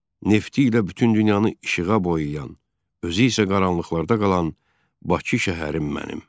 "Nefti ilə bütün dünyanı işığa boyayan, özü isə qaranlıqlarda qalan Bakı şəhərim mənim."